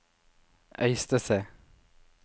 Øystese